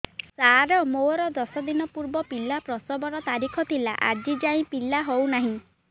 ସାର ମୋର ଦଶ ଦିନ ପୂର୍ବ ପିଲା ପ୍ରସଵ ର ତାରିଖ ଥିଲା ଆଜି ଯାଇଁ ପିଲା ହଉ ନାହିଁ